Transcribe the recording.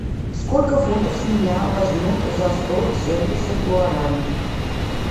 сколько фунтов с меня возьмут за сто семьдесят гуарани